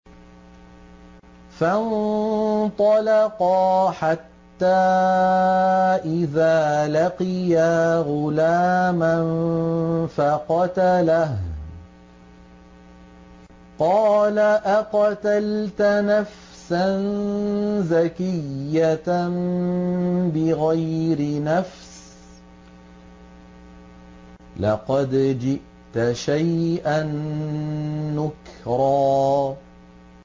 فَانطَلَقَا حَتَّىٰ إِذَا لَقِيَا غُلَامًا فَقَتَلَهُ قَالَ أَقَتَلْتَ نَفْسًا زَكِيَّةً بِغَيْرِ نَفْسٍ لَّقَدْ جِئْتَ شَيْئًا نُّكْرًا